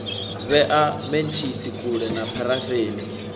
vhea mentshisi kule na pharafeni